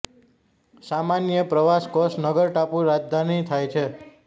સામાન્ય પ્રવાસ કોસ નગર ટાપુ રાજધાની થાય છે